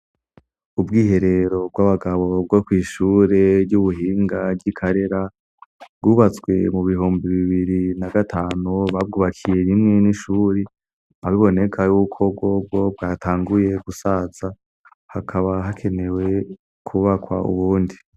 Ubwiherero bw'abagabo bwo kw'ishure ry'ubuhinga ry'i karera bwubatswe mu bihumbi bibiri na gatanu babwubakiye rimwe n'ishuri abiboneka yuko bwobwo bwatanguye gusatsa hakaba hakenewe kubakwa ubundi.